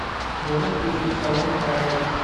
можешь включить сальма хайек